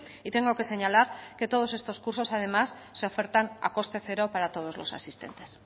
y tengo que señalar que todos estos cursos además se ofertan a coste cero para todos los asistentes